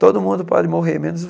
Todo mundo pode morrer, menos